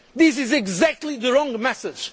others. This is exactly the wrong